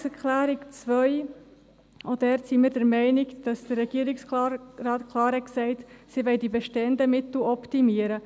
Zur Planungserklärung 2: Auch dort sind wir der Meinung, dass der Regierungsrat klar gesagt hat, er wolle die bestehenden Mittel optimieren.